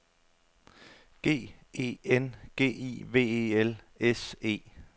G E N G I V E L S E